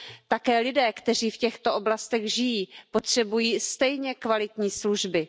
Také lidé, kteří v těchto oblastech žijí, potřebují stejně kvalitní služby.